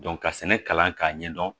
ka sɛnɛ kalan k'a ɲɛdɔn